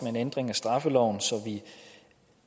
sige